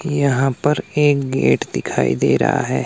यहां पर एक गेट दिखाई दे रहा है।